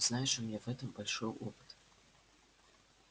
знаешь у меня в этом большой опыт